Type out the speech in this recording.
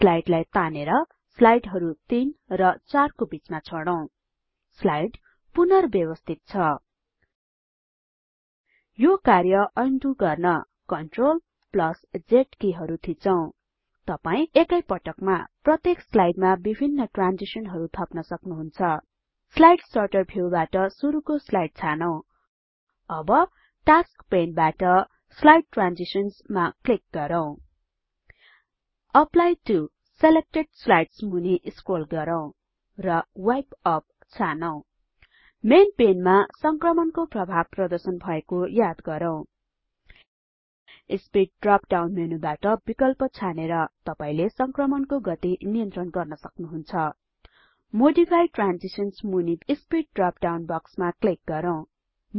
स्लाइडलाई तानेर स्लाइडहरु तीन र चारको बीचमा छोडौं स्लाइड पुनर्व्यवस्थित छ यो कार्य अन्डु गर्न CTRLZ कि हरु थिचौं तपाई एकै पटकमा प्रत्येक स्लाइडमा विभिन्न ट्रान्जिसनहरु थप्न सक्नुहुन्छ स्लाइड सर्टर भ्युबाट सुरुको स्लाइड छानौं अब टास्क पेन बाट स्लाइड ट्रान्जिशन्स मा क्लिक गरौँ एप्ली टो सिलेक्टेड स्लाइड्स मुनी स्क्रोल गरौँ र वाइप यूपी छानौं मेन पेनमा संक्रमणको प्रभाव प्रदर्शन भएको याद गरौँ स्पिड ड्रप डाउन मेनूबाट विकल्प छानेर तपाईले संक्रमणको गति नियन्त्रण गर्न सक्नुहुन्छ मोडिफाई ट्रान्जिशन्स मूनि स्पिड ड्रप डाउन बक्समा क्लिक गरौँ